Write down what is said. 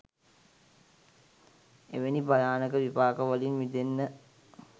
එවැනි භයානක විපාක වලින් මිදෙන්න